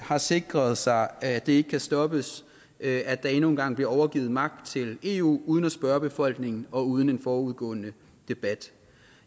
har sikret sig at det ikke kan stoppes at at der endnu en gang bliver overgivet magt til eu uden at spørge befolkningen og uden en forudgående debat